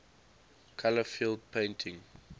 color field painting